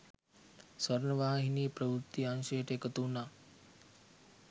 ස්වර්ණවාහිනී ප්‍රවෘත්ති අංශයට එකතු වුණ